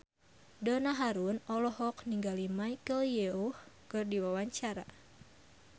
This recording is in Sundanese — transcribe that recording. Donna Harun olohok ningali Michelle Yeoh keur diwawancara